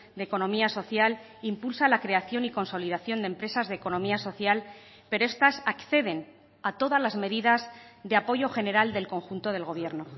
de economía social impulsa la creación y consolidación de empresas de economía social pero estas acceden a todas las medidas de apoyo general del conjunto del gobierno